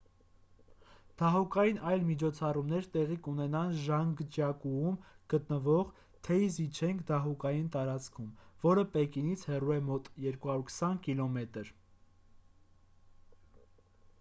դահուկային այլ միջոցառումներ տեղի կունենան ժանգջյակուում գտնվող թեյզիչենգ դահուկային տարածքում որը պեկինից հեռու է մոտ 220 կմ 140 մղոն: